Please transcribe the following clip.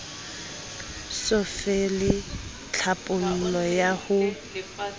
so fele tlhophollo ya ho